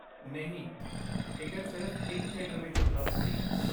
ਨਹੀਂ, ਟਿਕਟ ਸਿਰਫ਼ ਇੱਕ ਥੀਏਟਰ ਵਿੱਚ ਉਪਲਬਧ ਸੀ।